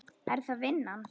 Er það vinnan?